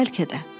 Bəlkə də.